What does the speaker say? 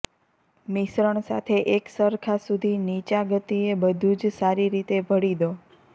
મિશ્રણ સાથે એકસરખા સુધી નીચા ગતિએ બધું જ સારી રીતે ભળી દો